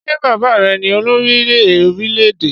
Ṣé bàbá rẹ ní olórí orílẹ́-èdè?